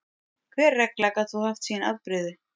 Hver regla gat þó haft sín afbrigði.